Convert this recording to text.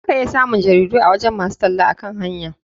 Za ka iya samun jaridu a gurin masu talle akan hanya.